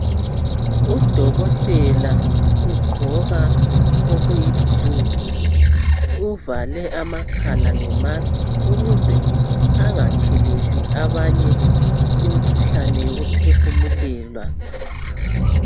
Udokotela ugqoka okuluhlaza okwesibhakabhaka uvale amakhala ngemusk ukuze angatheleli abanye imikhuhlane yokuphefumulelwa.